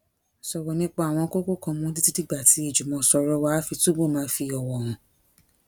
sòrò nípa àwọn kókó kan mó títí dìgbà tí ìjùmòsòrò wa á fi túbò máa fi òwò hàn